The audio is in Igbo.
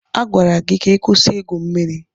A gwara gị si ịkwụsị igwu mmiri.